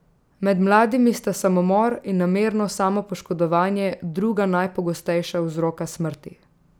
Med mladimi sta samomor in namerno samopoškodovanje druga najpogostejša vzroka smrti.